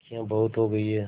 मक्खियाँ बहुत हो गई हैं